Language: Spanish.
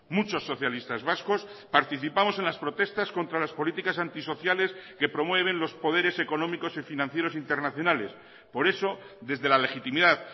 muchos socialistas vascos participamos en las protestas contra las políticas antisociales que promueven los poderes económicos y financieros internacionales por eso desde la legitimidad